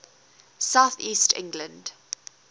south east england